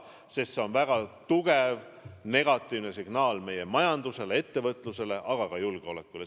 Sest see on väga tugev negatiivne signaal meie majandusele, ettevõtlusele, aga ka julgeolekule.